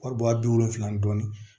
Wari bɔ a bi wolonfila ni dɔɔnin